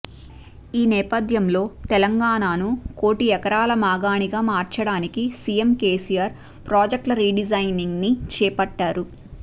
ఈ నేపథ్యంలో తెలంగాణను కోటి ఎకరాల మాగాణిగా మార్చడానికి సీఎం కేసీఆర్ ప్రాజెక్టుల రీడిజైనింగ్ని చేపట్టారు